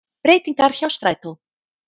Breytingar hjá strætó